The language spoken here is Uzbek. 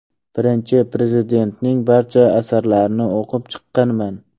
Birinchi Prezidentning barcha asarlarini o‘qib chiqqanman.